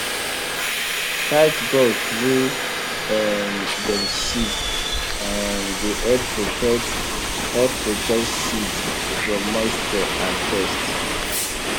tight gourd wey um dem seal um dey help protect help protect seed from moisture and pest